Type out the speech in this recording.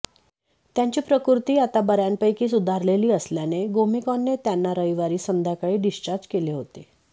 त्यांची प्रकृती आता बऱयापैकी सुधारलेली असल्याने गोमेकॉने त्यांना रविवारी संध्याकाळी डिस्चार्ज केले होते